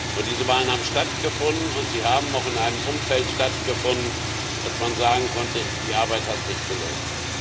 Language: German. Und diese Wahlen haben stattgefunden, und sie haben auch in einem Umfeld stattgefunden, dass man sagen konnte Die Arbeit hat sich gelohnt.